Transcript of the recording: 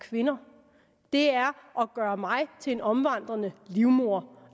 kvinder det er at gøre mig til en omvandrende livmor